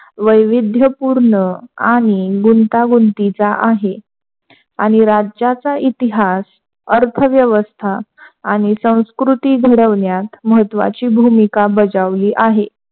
वैविध्यपूर्ण आणि गुंतगुंतीचा आहे. आणि राज्याचा इतिहास अर्थव्यवस्था आणि संस्कृती घडवण्यात महत्वाची भूमिका बजावली आहे.